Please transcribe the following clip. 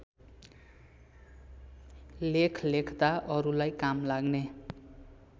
लेख लेख्दा अरूलाई कामलाग्ने